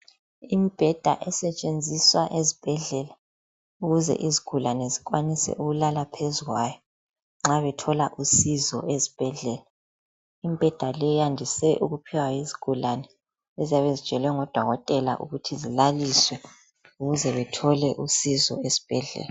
Imibheda esetshenziswa ezibhedlela ukuze izigulane zikwanise ukulala phezu kwayo nxa bethola usizo ezibhedlela, imibheda le iyandise ukuphiwa izigulane eziyabe zitshelwe ngoDokotela ukuthi zilaliswe ukuze bethole usizo esibhedlela.